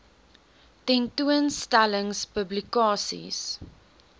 tentoon stellings publikasies